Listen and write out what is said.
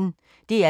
DR P1